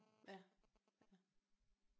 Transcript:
Ja ja